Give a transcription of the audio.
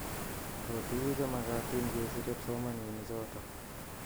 Ako tuku chemakatina ke sire psomananik chotok.